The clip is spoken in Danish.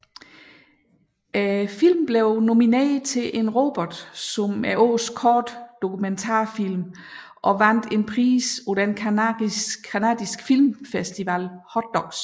Filmen blev nomineret til en Robert som Årets Korte Dokumentarfilm og vandt en pris på den canadiske filmfestival Hot Docs